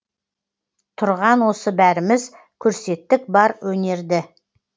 тұрған осы бәріміз көрсеттік бар өнерді